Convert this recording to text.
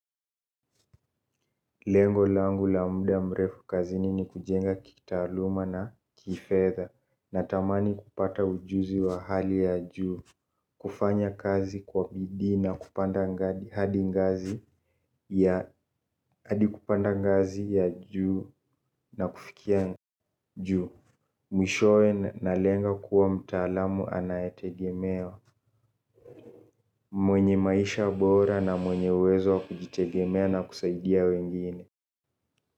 Lengo langu la mda mrefu kazini ni kujenga kitaaluma na kifedha na tamani kupata ujuzi wa hali ya juu, kufanya kazi kwa bidii na kupanda ngazi hadi ngazi ya kupanda ngazi ya juu na kufikia juu. Mwishowe na lenga kuwa mtaalamu anayetegemea mwenye maisha bora na mwenye uwezo wa kujitegemea na kusaidia wengine.